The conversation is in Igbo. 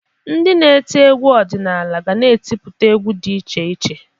Ndị na-eti egwu ọdịnala ga na-etiputa egwu dị iche iche.